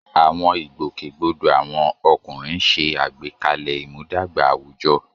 Àwọn ìgbòkègbodò àwọn ọkùnrin ń ṣe àgbékalẹ̀ ìmúdàgba àwùjọ.